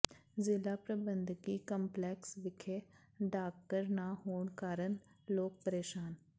ਜ਼ਿਲ੍ਹਾ ਪ੍ਰਬੰਧਕੀ ਕੰਪਲੈਕਸ ਵਿਖੇ ਡਾਕਘਰ ਨਾ ਹੋਣ ਕਾਰਨ ਲੋਕ ਪ੍ਰੇਸ਼ਾਨ